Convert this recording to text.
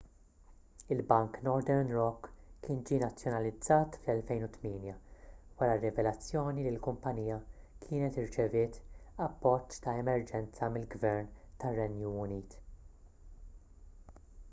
il-bank northern rock kien ġie nazzjonalizzat fl-2008 wara r-rivelazzjoni li l-kumpanija kienet irċeviet appoġġ ta' emerġenza mill-gvern tar-renju unit